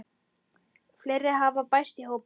Fleiri hafa bæst í hópinn.